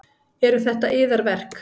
Eru þetta yðar verk?